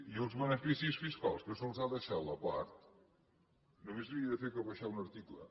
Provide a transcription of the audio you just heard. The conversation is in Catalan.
i els beneficis fiscals que se’ls ha deixat a part només havia de fer que baixar un article